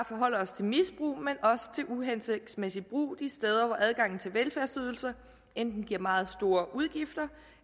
forholder os til misbrug men også til uhensigtsmæssig brug de steder hvor adgangen til velfærdsydelser enten giver meget store udgifter